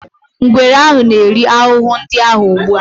Ngwere ahụ na-eri ahụhụ ndị ahụ ugbu a.